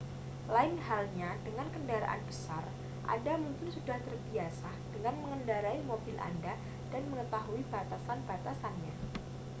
lain halnya dengan kendaraan besar anda mungkin sudah terbiasa dengan mengendarai mobil anda dan mengetahui batasan-batasannya